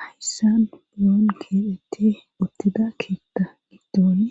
Hayssan uloon keelhette uttida keetta giddoone